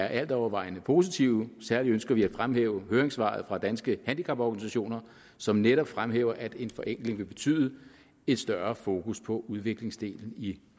alt overvejende er positive særlig ønsker vi at fremhæve høringssvaret fra danske handicaporganisationer som netop fremhæver at en forenkling vil betyde et større fokus på udviklingsdelen i